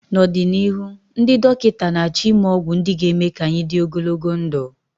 n'ọdịnihu, ndị dọkịta na-achọ ịme ọgwụ ndị ga-eme ka anyị dị ogologo ndụ